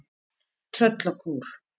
Tröllakór